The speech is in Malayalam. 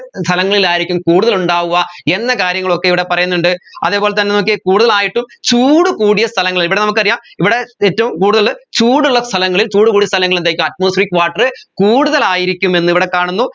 സ്ഥലങ്ങളിലായിരിക്കും കൂടുതൽ ഉണ്ടാവുക എന്ന കാര്യങ്ങളൊക്കെ ഇവിടെ പറയുന്നുണ്ട് അതേപോലെ തന്നെ നോക്കിയേ കൂടുതലായിട്ടും ചൂടുകൂടിയ സ്ഥലങ്ങൾ ഇവിടെ നമ്മക്കറിയാ ഇവിടെ ഏറ്റവും കൂടുതൽ ചൂടുള്ള സ്ഥലങ്ങളിൽ ചൂട് കൂടിയ സ്ഥലങ്ങളിൽ എന്തായിക്ക atmospheric water കൂടുതലായിരിക്കും എന്ന് ഇവിടെ കാണുന്നു